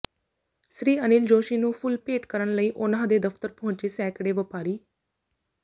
ਸ੍ਰੀ ਅਨਿਲ ਜੋਸ਼ੀ ਨੂੰ ਫੁੱਲ ਭੇਟ ਕਰਨ ਲਈ ਉਨ੍ਹਾਂ ਦੇ ਦਫਤਰ ਪਹੁੰਚੇ ਸੈਂਕੜੇ ਵਪਾਰੀ